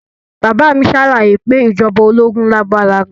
Bàbá mi ṣàlàyé pé ìjọba ológun lágbára gan